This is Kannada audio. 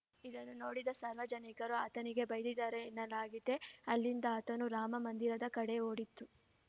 ಇದನ್ನು ನೋಡಿದ ಸಾರ್ವ ಜನಿಕರು ಆತನಿಗೆ ಬೈದಿದ್ದರೆನ್ನಲಾಗಿದೆ ಅಲ್ಲಿಂದ ಆತನು ರಾಮ ಮಂದಿರದ ಕಡೆ ಓಡಿದ್ದು